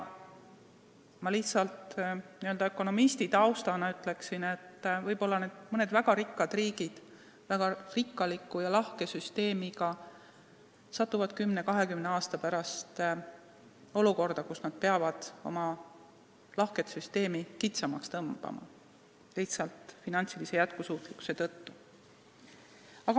Oma ökonomistitausta tõttu ma ütlen, et võib-olla need mõned väga rikkad riigid, väga rikkaliku ja lahke süsteemiga, satuvad 10–20 aasta pärast olukorda, kus nad peavad oma lahket süsteemi kitsamaks tõmbama, lihtsalt finantsilise jätkusuutmatuse tõttu.